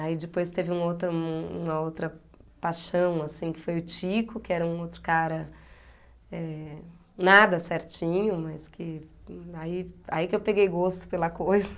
Aí depois teve uma outra uma outra paixão, assim, que foi o Tico, que era um outro cara, eh... Nada certinho, mas que... Aí aí que eu peguei gosto pela coisa.